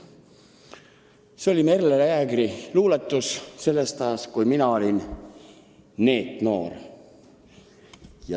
" See on Merle Jäägri luuletus sellest ajast, kui mina olin NEET-noor.